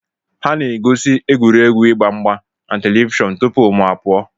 Ha nọ na-egosi egwuregwu ịgba mgba na televishọn tupu mụ apụọ.